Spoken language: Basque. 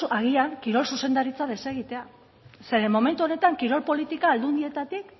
agian kirol zuzendaritza desegitea zeren momentu honetan kirol politika aldundietatik